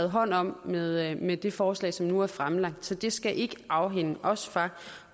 hånd om med med det forslag som nu er fremlagt så det skal ikke afholde os fra